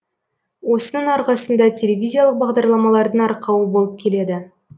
осының арқасында телевизиялық бағдарламалардың арқауы болып келеді